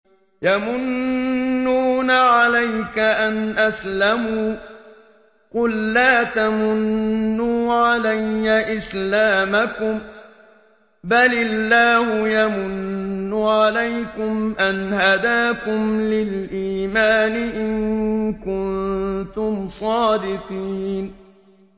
يَمُنُّونَ عَلَيْكَ أَنْ أَسْلَمُوا ۖ قُل لَّا تَمُنُّوا عَلَيَّ إِسْلَامَكُم ۖ بَلِ اللَّهُ يَمُنُّ عَلَيْكُمْ أَنْ هَدَاكُمْ لِلْإِيمَانِ إِن كُنتُمْ صَادِقِينَ